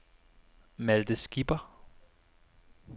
Malte Skipper